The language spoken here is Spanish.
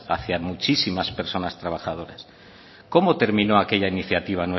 hacia muchísimas personas trabajadoras cómo terminó aquella iniciativa